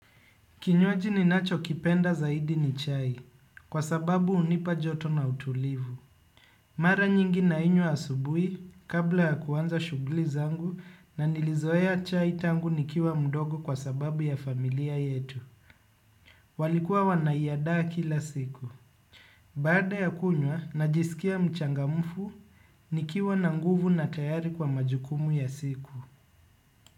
Kinywaji ninacho kipenda zaidi ni chai kwa sababu hunipa joto na utulivu. Mara nyingi nainywa asubuhi kabla ya kuanza shughuli zangu na nilizoea chai tangu nikiwa mdogo kwa sababu ya familia yetu. Walikuwa wanaiandaa kila siku. Baada ya kunywa najisikia mchangamufu nikiwa na nguvu na tayari kwa majukumu ya siku.